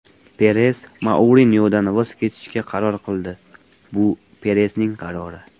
Peres Mourinyodan voz kechishga qaror qildi… Bu Peresning qarori.